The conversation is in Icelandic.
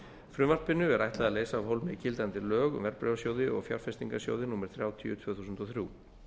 frumvarpinu er ætlað að leysa af hólmi gildandi lög um verðbréfasjóði og fjárfestingarsjóði númer þrjátíu tvö þúsund og þrjú